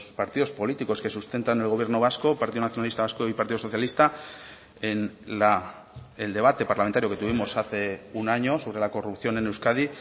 partidos políticos que sustentan el gobierno vasco partido nacionalista vasco y partido socialista en el debate parlamentario que tuvimos hace un año sobre la corrupción en euskadi